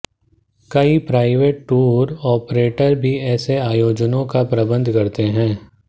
कई private tour operator भी ऐसे आयोजनों का प्रबंध करते है